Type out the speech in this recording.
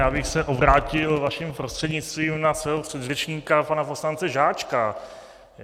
Já bych se obrátil vaším prostřednictvím na svého předřečníka pana poslance Žáčka.